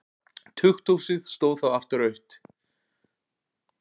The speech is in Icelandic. Tukthúsið stóð þá aftur autt.